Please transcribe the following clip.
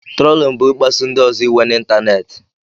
Trolin bu ịkpasu ndị ọzọ iwe na ịntanetị.